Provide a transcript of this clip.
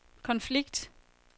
konflikt